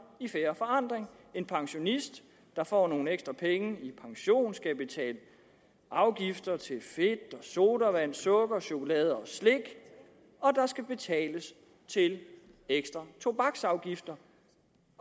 i fair forandring en pensionist der får nogle ekstra penge i pension skal betale afgifter til fedt sodavand sukker chokolade og slik og der skal betales til ekstra tobaksafgifter